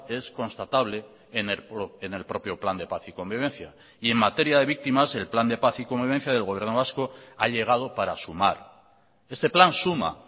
es constatable en el propio plan de paz y convivencia y en materia de víctimas el plan de paz y convivencia del gobierno vasco ha llegado para sumar este plan suma